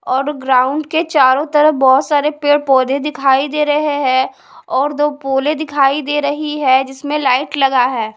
और ग्राउंड के चारों तरफ बहोत सारे पेड़ पौधे दिखाई दे रहे हैं और दो पोलें दिखाई दे रही है जिसमें लाइट लगा है।